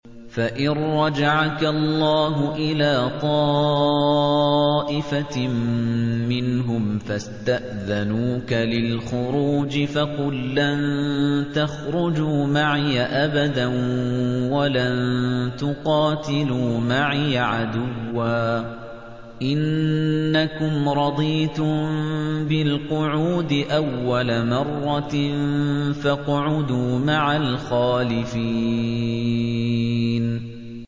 فَإِن رَّجَعَكَ اللَّهُ إِلَىٰ طَائِفَةٍ مِّنْهُمْ فَاسْتَأْذَنُوكَ لِلْخُرُوجِ فَقُل لَّن تَخْرُجُوا مَعِيَ أَبَدًا وَلَن تُقَاتِلُوا مَعِيَ عَدُوًّا ۖ إِنَّكُمْ رَضِيتُم بِالْقُعُودِ أَوَّلَ مَرَّةٍ فَاقْعُدُوا مَعَ الْخَالِفِينَ